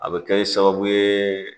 A bɛ kɛ sababu ye